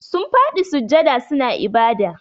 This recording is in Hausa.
Sun fadi sujjada suna ibada.